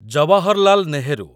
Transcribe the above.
Jawaharlal Nehru